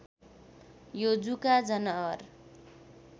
यो जुका जनावर